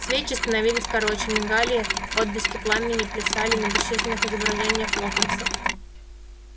свечи становились короче мигали отблески пламени плясали на бесчисленных изображениях локонса